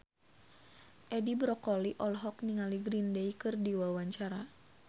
Edi Brokoli olohok ningali Green Day keur diwawancara